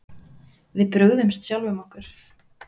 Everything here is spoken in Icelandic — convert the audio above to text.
Við brugðumst sjálfum okkur